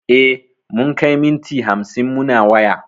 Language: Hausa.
E, mun kai minti hamsin muna waya.